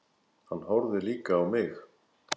Hann horfði líka á mig.